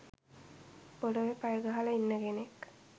පොළවේ පය ගහලා ඉන්න කෙනෙක්